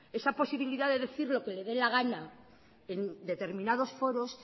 esa posibilidad de decir lo que le de gana en determinados foros